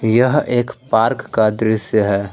यह एक पार्क का दृसय है।